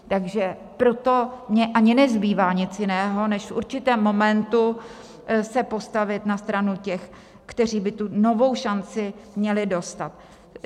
Takže proto mi ani nezbývá nic jiného než v určitém momentu se postavit na stranu těch, kteří by tu novou šanci měli dostat.